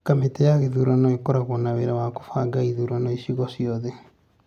kamĩtĩ ya gĩthurano ĩkoragwo na wĩra wa kũbanga ithurano icigo ciothe